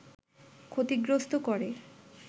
ক্ষতিগ্রস্ত করে